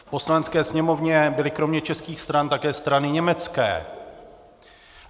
V Poslanecké sněmovně byly kromě českých stran také strany německé.